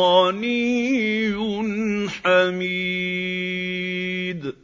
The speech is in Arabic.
غَنِيٌّ حَمِيدٌ